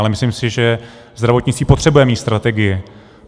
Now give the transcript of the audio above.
Ale myslím si, že zdravotnictví potřebuje mít strategii.